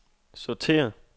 sortér